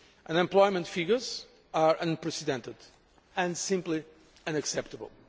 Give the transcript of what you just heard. Unemployment figures are unprecedented and simply unacceptable.